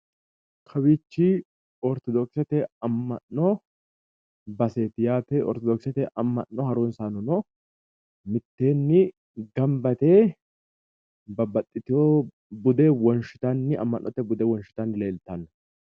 kawiichi oritodokkisete amma'no baseeti yaate oritodokisete amma'no harunsanno mitteenni gamba yite babbaxxino ammannote bude wonshitanni leltanno .